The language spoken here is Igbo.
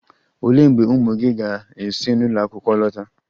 Olee mgbe ụmụ gị ga-esi n'ụlọ akwụkwọ lọta?